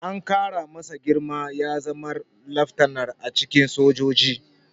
An ƙara masa girma ya zama laftanar a cikin sojoji.